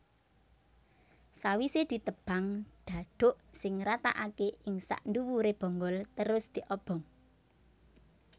Sawisé ditebang dhadhuk sing rataaké ing sakndhuwuré bonggol terus diobong